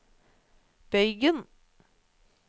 bøygen